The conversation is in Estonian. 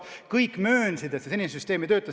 Kõik möönsid, et senine süsteem ei tööta.